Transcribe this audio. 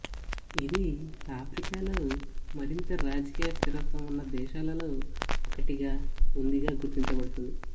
ఇది ఆఫ్రికాలో మరింత రాజకీయ స్థిరత్వం ఉన్న దేశాలలో ఒకటిగా ఉందిగా గుర్తించబడుతుంది